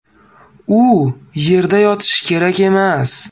U yerda yotishi kerak emas.